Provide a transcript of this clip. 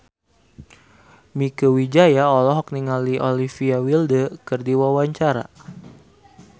Mieke Wijaya olohok ningali Olivia Wilde keur diwawancara